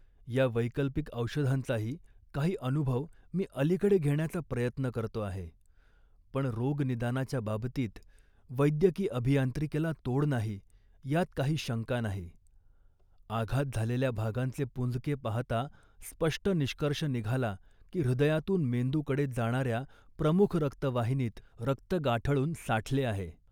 या वैकल्पिक औषधांचाही काही अनुभव मी अलीकडे घेण्याचा प्रयत्न करतो आहे, पण, रोगनिदानाच्या बाबतीत वैद्यकी अभियांत्रिकीला तोड नाही यात काही शंका नाही. आघात झालेल्या भागांचे पुंजके पाहता स्पष्ट निष्कर्ष निघाला, की हृदयातून मेंदूकडे जाणाऱ्या प्रमुख रक्तवाहिनीत रक्त गाठळून साठले आहे